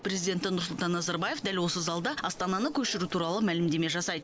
президенті нұрсұлтан назарбаев дәл осы залда астананы көшіру туралы мәлімдеме жасайды